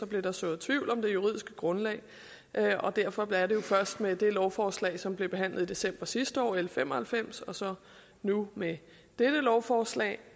blev der sået tvivl om det juridiske grundlag derfor derfor er det jo først med det lovforslag som blev behandlet i december sidste år l fem og halvfems og så nu med dette lovforslag